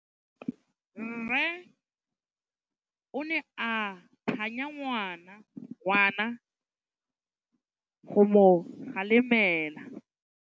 Rre o ne a phanya ngwana go mo galemela.